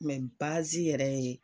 yɛrɛ ye.